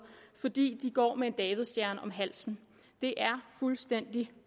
fordi de går med en davidsstjerne om halsen det er fuldstændig